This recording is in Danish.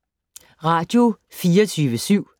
Radio24syv